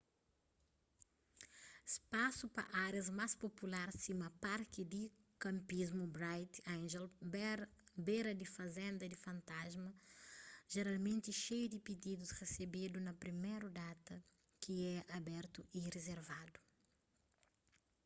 spasu pa árias más popular sima parki di kanpismu bright angel bera di fazenda di fantasma jeralmenti xeiu di pididus resebedu na priméru data ki é abertu y rizervadu